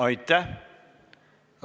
Aitäh!